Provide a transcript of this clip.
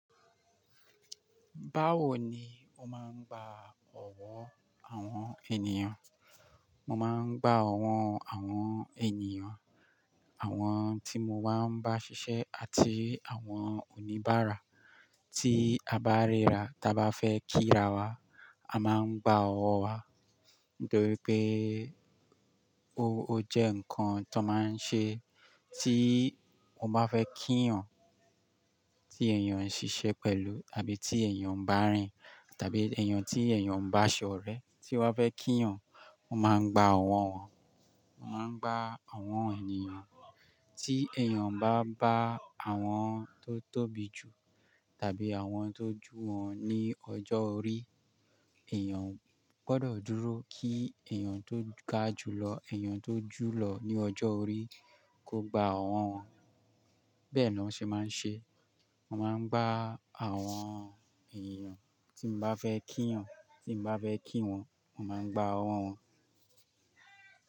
Báwo ni o máa ń gba ọ̀wọ́ àwọn ènìyàn? Mo máa ń gba ọ̀wọ́ àwọn ènìyàn, àwọn tí mo bá ń bá ṣiṣẹ́ àti àwọn oníbàárà tí a bá ríra, ta bá fẹ́ kíra wa, a máa ń gba ọ̀wọ́ wa. Nitori pé ó jẹ́ nǹkan tó máa ń ṣe tí mo bá fẹ́ kí èyàn tí èèyàn ń ṣiṣẹ́ pẹ̀lú àbí tí èèyàn bá ń rìn tàbí èèyàn tí èèyàn bá ń bá ṣọ̀rẹ́ tí wọ́n fẹ́ kí yan, wọ́n máa ń gba ọ̀wọ́ wọn. Wọ́n máa ń gba àwọn ènìyàn, tí èèyàn bá n bá àwọn tó tóbi jù tàbí àwọn tó jù wọn ní ọjọ́ orí, èèyàn gbọdọ̀ dúró kí èèyàn tó ga jùlọ, èèyàn tó jù lọ ní ọjọ́ orí kó gba ọ̀wọ́ wọn. Bẹ́ẹ̀ ni wọ́n ṣe máa ń ṣe. Mo máa ń gba àwọn ènìyàn tí n bá fẹ́ kí yan, tí n bá fẹ́ kí wọn, mo máa ń gba ọ̀wọ́ wọn.